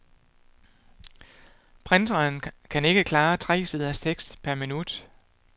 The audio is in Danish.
Printeren kan klare tre siders tekst per minut.